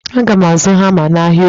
Aga m azụ hama n'ahịa orie.